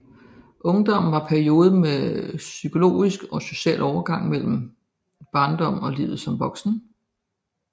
Ungdommen er perioden med psykologisk og social overgang mellem barndommen og livet som voksen